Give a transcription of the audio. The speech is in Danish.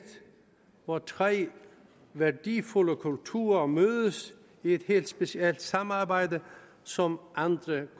hvor tre værdifulde kulturer mødes i et helt specielt samarbejde som andre